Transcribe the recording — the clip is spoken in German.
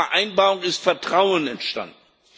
Bei dieser Vereinbarung ist Vertrauen entstanden.